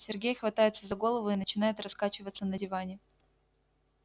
сергей хватается за голову и начинает раскачиваться на диване